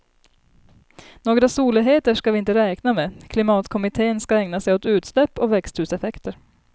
Några soligheter ska vi inte räkna med, klimatkommittén ska ägna sig åt utsläpp och växthuseffekter.